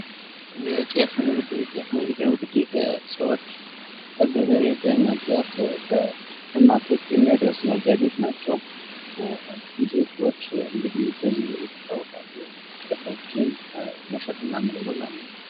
የጤፍ ንግድ ፡የጤፍ ንግድ እንግድህ ሰወች ከገበሬ በመግዛት ለሸማቾች የሚያደርሱ ነጋደወች ናችው። ብዙ ዜግች እንግድህ በዚህ ይታወቃሉ ጤፎችን መሸጥ እና መለወጥ ማለት ነው።